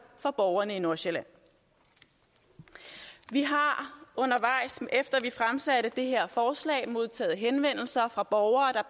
for borgerne i nordsjælland vi har undervejs efter at vi fremsatte det her forslag modtaget henvendelser fra borgere der